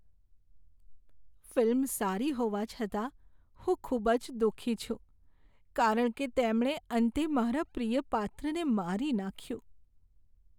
Film સારી હોવા છતાં હું ખૂબ જ દુઃખી છું કારણ કે તેમણે અંતે મારા પ્રિય પાત્રને મારી નાખ્યું.